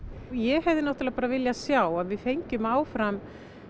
ég hefði náttúrulega viljað sjá að við fengjum áfram